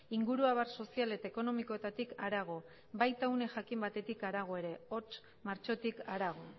inguru abar sozial eta ekonomikoetatik harago baita une jakin batetik harago ere hots martxotik harago